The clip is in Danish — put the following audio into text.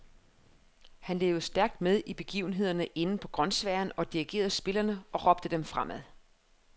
Han levede stærkt med i begivenhederne inde på grønsværen og dirigerede spillerne og råbte dem fremad.